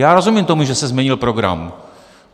Já rozumím tomu, že se změnil program.